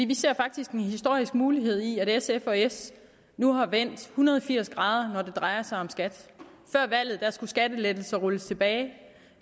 vi ser faktisk en historisk mulighed i at sf og s nu er vendt hundrede og firs grader når det drejer sig om skat før valget skulle skattelettelser rulles tilbage